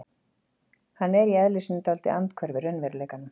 Hann er í eðli sínu dálítið andhverfur raunveruleikanum.